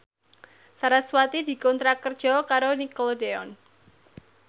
sarasvati dikontrak kerja karo Nickelodeon